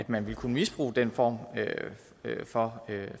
man ville kunne misbruge den form for